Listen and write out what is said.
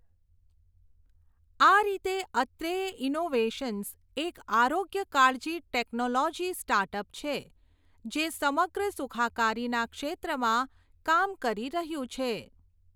આ રીતે અત્રેય ઇનોવેશન્સ એક આરોગ્ય કાળજી ટેક્નેલેજી સ્ટાર્ટ અપ છે જે સમગ્ર સુખાકારીના ક્ષેત્રમાં કામ કરી રહ્યું છે.